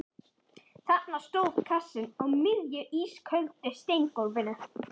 Þarna stóð kassinn á miðju ísköldu steingólfinu.